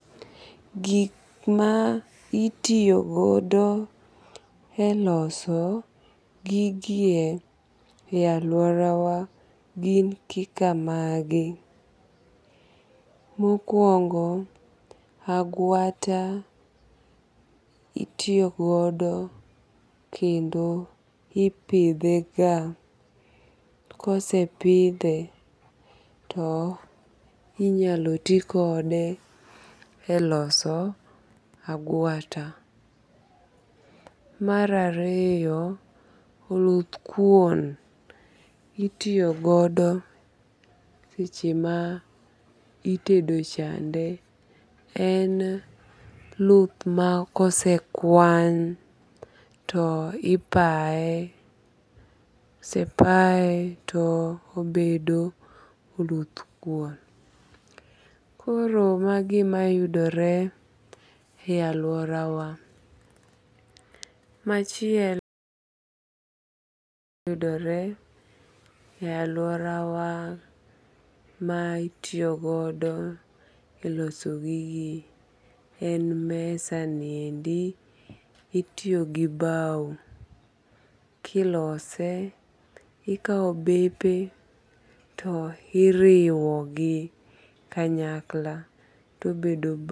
Gik ma itiyo godo e loso gigie e aluora wa gin kika magi. Mokuongo agwata itiyo godo kendo ipidhe ga. Kosepidhe to inyalo ti kode e loso agwata. Mar ariyo, oluth kuon itiyo godo seche ma itedo chande. En luth ma kose kwan to ipaye. Kose paye to obedo oluth kuon. Koro magi ema yudore e aluora wa. Machielo. Yudore e aluora wa ma itiyo godo e loso gigie en mesa niendi. Itiyo gi baw kilose. Ikaw bepe to iriwo gi kanyakla tobedo.